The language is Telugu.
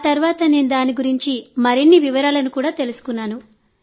ఆ తర్వాత నేను దాని గురించి మరిన్ని వివరాలను తెలుసుకున్నాను